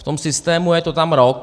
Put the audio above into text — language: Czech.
V tom systému je to tam rok.